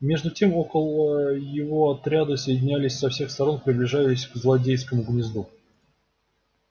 между тем около его отряды соединялись со всех сторон приближались к злодейскому гнезду